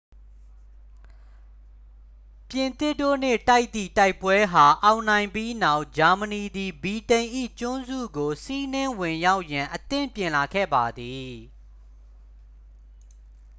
ပြင်သစ်တို့နှင့် တိုက်သည့် တိုက်ပွဲအား အောင်နိုင်ပြီးနောက် ဂျာမနီသည် ဗြိတိန်၏ကျွန်းစုကို စီးနင်းဝင်ရောက်ရန် အသင့်ပြင်လာခဲ့ပါသည်